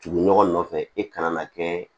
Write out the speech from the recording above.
Tugu ɲɔgɔn nɔfɛ e kana na kɛ